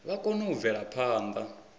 vha kone u bvela phanḓa